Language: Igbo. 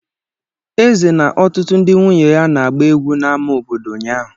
Eze na ọtụtụ ndị nwunye ya na-agba egwu n'ámá obodo ụnyahụ.